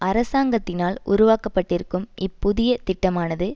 அரசாங்கத்தினால் உருவாக்கப்பட்டிருக்கும் இப்புதிய திட்டமானது